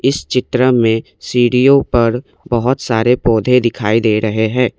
चित्र में सीढ़ियों पर बहुत सारे पौधे दिखाई दे रहे हैं।